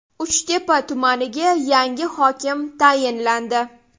Uchtepa tumaniga yangi hokim tayinlandi.